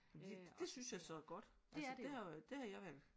Det synes jeg så er godt altså det havde det havde jeg valgt